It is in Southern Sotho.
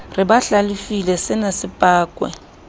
re ba hlalefile senase pakwa